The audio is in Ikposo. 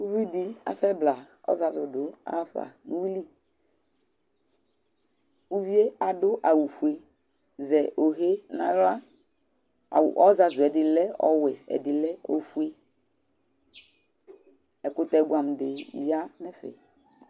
Ʊvɩdɩ asɛbla ɔzazʊ dʊ yafa nʊwuilɩ Ʊvɩe adʊ awʊ fue, zɛ yohe nawla Ɩzazʊ ɛdɩlɛ ɔwɛ, ɛdɩlɛ ofue Ɛkʊtɛ buamudi ya nu ɛfɛ